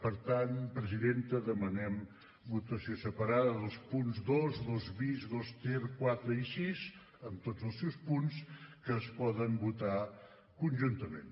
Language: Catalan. per tant presidenta demanem votació separada dels punts dos dos bis dos ter quatre i sis amb tots els seus punts que es poden votar conjuntament